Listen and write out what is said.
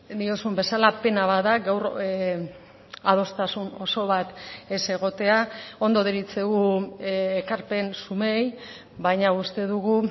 diozun bezala pena bat da gaur adostasun oso bat ez egotea ondo deritzogu ekarpen zumeei baina uste dugu